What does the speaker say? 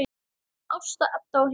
Ásta Edda og Hinrik.